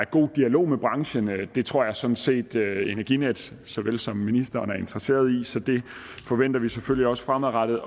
god dialog med branchen det tror jeg sådan set at energinet såvel som ministeren er interesseret i så det forventer vi selvfølgelig også fremadrettet